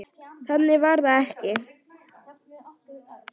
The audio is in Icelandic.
Þannig var það ekki.